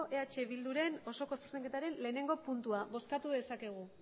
eh bilduren osoko zuzenketaren lehenengo puntua bozkatu dezakegu